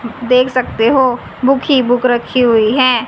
देख सकते हो बुक ही बुक रखी हुई है।